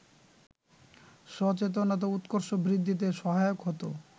সচেতনতা উৎকর্ষ বৃদ্ধিতে সহায়ক হতো